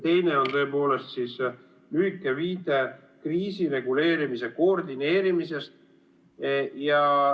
Teine on lühike viide kriisireguleerimise koordineerimisele.